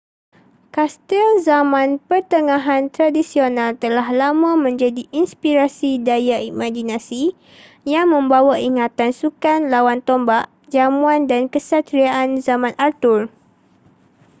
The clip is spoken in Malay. kastil zaman pertengahan tradisional telah lama menjadi inspirasi daya imaginasi yang membawa ingatan sukan lawan tombak jamuan dan kesatriaan zaman arthur